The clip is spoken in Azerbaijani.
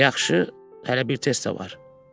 Yaxşı, hələ bir test də var.